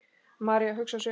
María hugsar sig um.